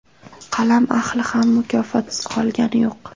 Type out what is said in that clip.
Qalam ahli ham mukofotsiz qolgani yo‘q.